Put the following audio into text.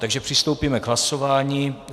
Takže přistoupíme k hlasování.